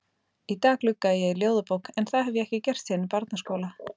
Í dag gluggaði ég í ljóðabók en það hef ég ekki gert síðan í barnaskóla.